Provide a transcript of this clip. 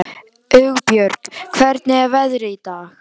Hugbjörg, hvernig er veðrið í dag?